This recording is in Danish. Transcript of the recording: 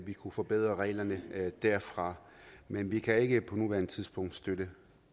vi kunne forbedre reglerne derfra men vi kan ikke på nuværende tidspunkt støtte